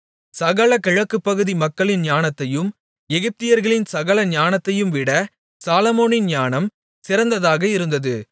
சகல கிழக்குப்பகுதி மக்களின் ஞானத்தையும் எகிப்தியர்களின் சகல ஞானத்தையும்விட சாலொமோனின் ஞானம் சிறந்ததாக இருந்தது